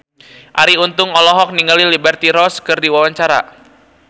Arie Untung olohok ningali Liberty Ross keur diwawancara